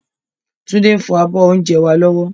Tunde ń fọ abọ́ oúnjẹ wá lọ́wọ́